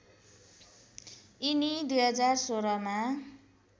यिनी २०१६मा